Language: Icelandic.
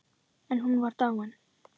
En hún var dáin.